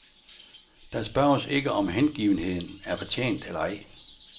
Der spørges ikke, om hengivenheden er fortjent eller ej.